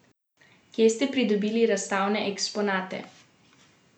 Kje ste pridobili razstavne eksponate?